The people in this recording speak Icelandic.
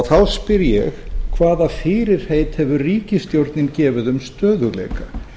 þá spyr ég hvaða fyrirheit hefur ríkisstjórnin gefið um stöðugleika